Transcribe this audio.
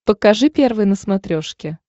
покажи первый на смотрешке